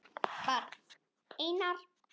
Barn: Einar.